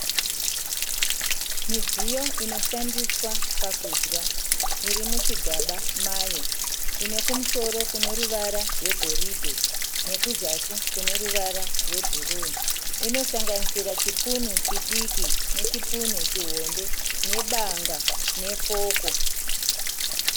Midziyo inoshandiswa pakudya iri muchigaba mayo ine kumusoro kune ruvara rwegoridhe nekuzasi kune ruvara rwebhuruu, inosanganisira chipunu chidiki nechipunu chihombe nebanga nefoku.